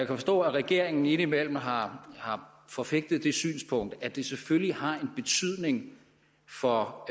forstå at regeringen indimellem har forfægtet det synspunkt at det selvfølgelig har en betydning for